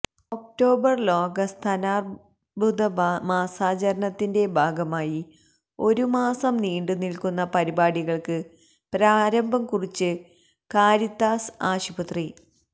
October ലോക സ്തനാര്ബുദ മാസാചരണത്തിന്റെ ഭാഗമായി ഒരുമാസം നീണ്ടുനില്ക്കുന്ന പരിപാടികള്ക്ക് പ്രാരംഭം കുറിച്ച് കാരിത്താസ് ആശുപത്രി